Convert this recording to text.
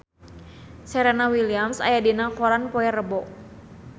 Serena Williams aya dina koran poe Rebo